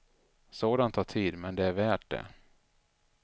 Sådant tar tid, men det är värt det.